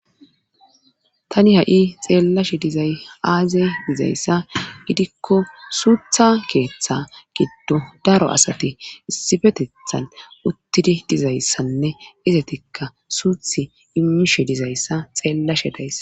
tani ha7i xeellashe dizay aazey dizayssa gidikko suutha keeththa giddo daro asati issifetethan uttidi dizayssanne izatikka suuthi imishe dizayssa xeellashe dayssa